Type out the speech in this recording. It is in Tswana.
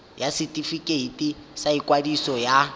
ya setefikeiti sa ikwadiso ya